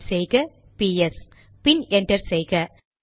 type செய்க BS பின் enter செய்க